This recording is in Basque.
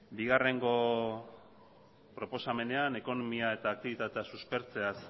bigarrengo proposamenean ekonomia eta aktibitatea suspertzeaz